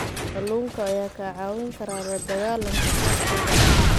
Kalluunka ayaa kaa caawin kara la dagaalanka faqriga.